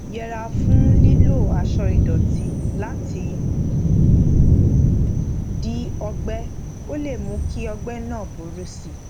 yẹra fún yẹra fún lílo aṣọ ìdòtí láti di ọgbẹ ó lè mú kí ọgbẹ náà burú sí i